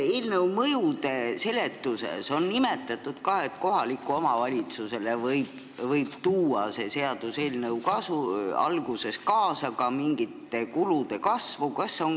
Siin eelnõu mõjude seletuse peatükis on ka nimetatud, et kohalikule omavalitsusele võib see seaduseelnõu alguses ka mingite kulude kasvu kaasa tuua.